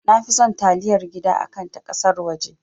Nafi son taliyar gida akan na ƙasar waje